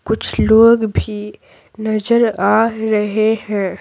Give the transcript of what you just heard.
कुछ लोग भी नजर आ रहे हैं।